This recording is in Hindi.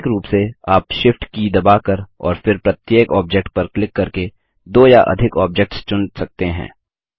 वैकल्पिक रूप से आप Shift की दबाकर और फिर प्रत्येक ऑब्जेक्ट पर क्लिक करके दो या अधिक ऑब्जेक्ट्स चुन सकते हैं